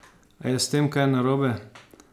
A je s tem kaj narobe?